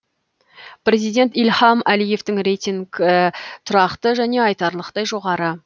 президент ильхам әлиевтің рейтингі тұрақты және айтарлықтай жоғары